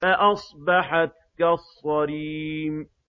فَأَصْبَحَتْ كَالصَّرِيمِ